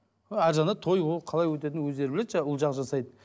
а ар жағында той ол қалай өтетінін өздері біледі жаңағы ұл жағы жасайды